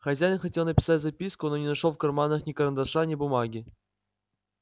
хозяин хотел написать записку но не нашёл в карманах ни карандаша ни бумаги